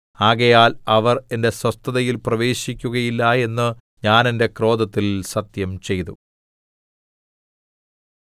ആകയാൽ അവർ എന്റെ സ്വസ്ഥതയിൽ പ്രവേശിക്കുകയില്ല എന്ന് ഞാൻ എന്റെ ക്രോധത്തിൽ സത്യംചെയ്തു